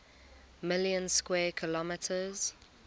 million square kilometers